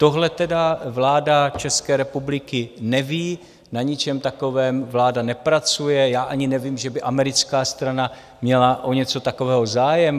Tohle tedy vláda České republiky neví, na ničem takovém vláda nepracuje, já ani nevím, že by americká strana měla o něco takového zájem.